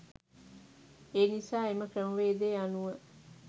ඒනිසා එම ක්‍රමවේදය අනුව